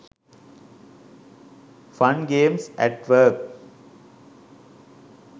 fun games at work